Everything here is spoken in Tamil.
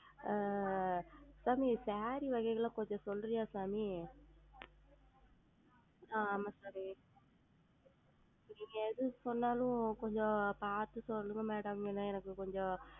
ஆஹ் சாமி Saree அதுபத்தில்லாம் கொஞ்சம் சொல்றியா சாமி ஆஹ் ஆமாம் சாமி நீங்கள் எது சொன்னாலும் கொஞ்சம் பார்த்து சொல்லுங்க Madam ஏனா எனக்கு கொஞ்சம்